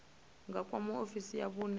nga kwama ofisi ya vhune